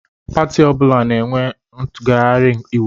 Pati ọbụla na-enwe ngaghari íwú.